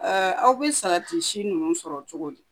aw bɛ sa'ati si ninnu sɔrɔ cogo di?